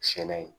Sɛnɛ